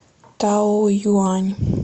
таоюань